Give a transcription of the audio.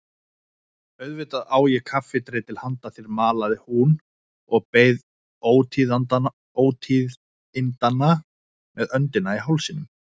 Auðvitað á ég kaffidreitil handa þér malaði hún og beið ótíðindanna með öndina í hálsinum.